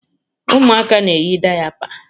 Ụmụaka na-eyi dayapa.